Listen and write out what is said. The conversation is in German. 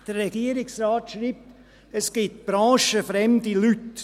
Der Regierungsrat schreibt, es gebe branchenfremde Leute.